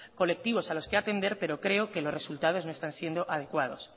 colectivos a los que atender pero creo que los resultados no están siendo adecuados